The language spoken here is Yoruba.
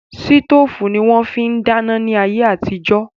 Sítòfù ni wón fi ń dáná ní ayé àtijó